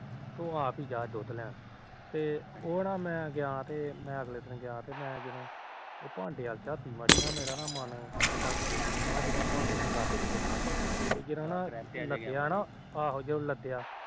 ਤੂੰ ਆਪ ਹੀ ਜਾ ਦੂਧ ਲੈਣ ਤੇ ਅਗਲੇ ਦਿਨ ਮੈ ਗਿਆ ਉਹ ਨਾ ਭਾਂਡੇ ਵੱਲ ਝਾਤੀ ਮਾਰੀ ਮੇਰਾ ਮਨ ਉਹ ਭਾਂਡੇ ਚੋ ਲੱਥ ਕੇ ਦਿਤਾ ਤੇ ਜਦੋ ਨਾ ਲੱਗਿਆ ਨਾ ਆਹੋ ਲੱਦਿਆ